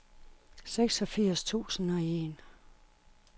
seksogfirs tusind og en